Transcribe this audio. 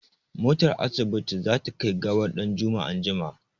Motar asibiti za ta kai gawar ɗanjuma anjima.